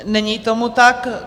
Není tomu tak.